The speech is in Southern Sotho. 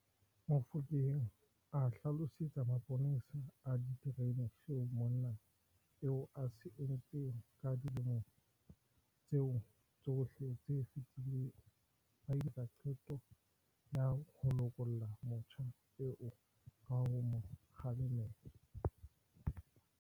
Mofokeng a hlalosetsa maponesa a ditereneng seo monna eo a se entseng ka dilemo tseo tsohle tse fetileng, ba ile ba etsa qeto ya ho lokolla motjha eo ka ho mo kgalema feela.